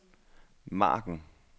margen